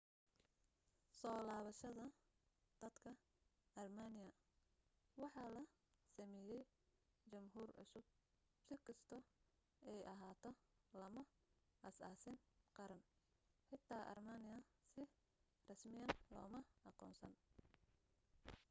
soo labashada dadka armenian waxaa la sameyey jamhuur cusub si kasto ay ahaato lama aas aasing qaran xita armenian si rasmiyan loma aqoonsan